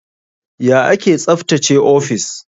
Ya ake tsaftace ofis?